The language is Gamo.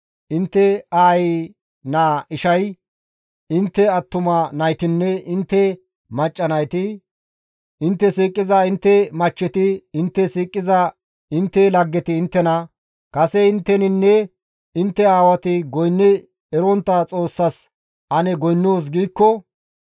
Intte aayi naa ishay, intte attuma naytinne intte macca nayti, intte siiqiza intte machcheti, intte siiqiza intte laggeti inttena, «Kase intteninne intte aawati goynni erontta xoossas ane goynnoos» giikko,